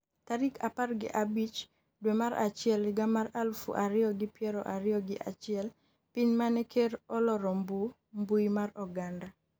tarik apar gi abich dwe mar achiel higa mar aluf ariyo gi piero ariyo gi achiel piny mane ker oloro mbui mar oganda